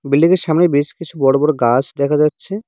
বিল্ডিংয়ের সামনে বেশ কিছু বড় বড় গাছ দেখা যাচ্ছে।